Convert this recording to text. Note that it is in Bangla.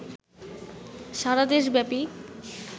সারাদেশ ব্যাপী